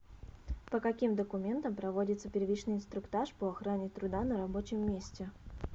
по каким документам проводится первичный инструктаж по охране труда на рабочем месте